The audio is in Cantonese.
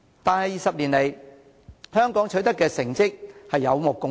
但是 ，20 年來，香港取得的成績有目共睹。